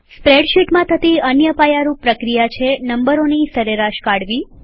સ્પ્રેડશીટમાં થતી અન્ય પાયારૂપ પ્રક્રિયા છે નંબરોની સરેરાશ કાઢવી